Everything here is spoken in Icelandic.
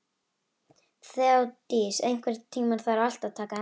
Þeódís, einhvern tímann þarf allt að taka enda.